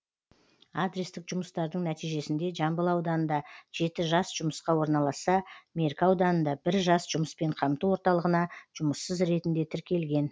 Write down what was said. адрестік жұмыстардың нәтижесінде жамбыл ауданында жеті жас жұмысқа орналасса меркі ауданында бір жас жұмыспен қамту орталығына жұмыссыз ретінде тіркелген